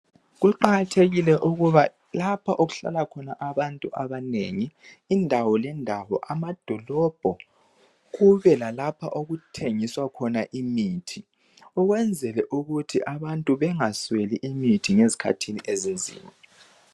Kuqakathekile ukuba lapho okuhlala khona abantu abanengi indawo lendawo amadolobho kube lalapho okuthengiswa khona imithi ukwenzela ukuthi abantu bengasweli imithi ngezikhathini zobunzima